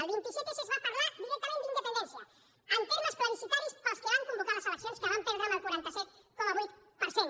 el vint set s es va parlar directament d’independència en termes plebiscitaris pels que van convocar les eleccions que van perdre amb el quaranta set coma vuit per cent